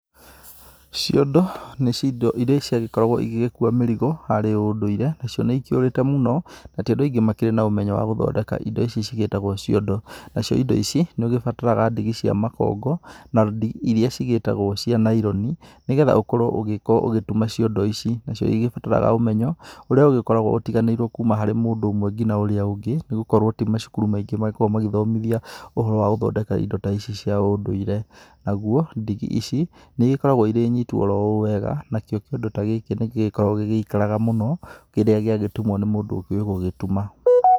Ciondo nĩcio indo iria ciagĩkoragwo igĩkuua mĩrigo harĩ ũndũire. Nacio nĩikĩũrĩte mũno na ti andũ aingĩ marĩ na ũmenyo wa gũthondeka indo ici cigĩtagwo ciondo. Nacio indo ici, nĩũgĩbataraga ndigi cia makongo na rodi iria cigĩtagwo cia naironi, nĩgetha ũgĩgĩkorwo ũgĩgĩtuma ciondo ici. Nacio nĩigĩbataraga ũmenyo ũrĩa ũgĩgĩtiganagĩrwo kuma mũndũ nginya ũrĩa ũngĩ tondũ ti macukuru maingĩ magĩkoragwo magĩthomithia ũhoro wa gũthondeka indo ta ici cia ũndũire. Naguo, ndigi ici, nĩigĩkoragwo irĩ nyitu oro ũũ wega, nakĩo kĩondo ta gĩkĩ nĩgĩkoragwo gĩgĩikaraga mũno rĩrĩa gĩagĩtumwo nĩ mũndũ ũkĩũĩ gũgĩtuma.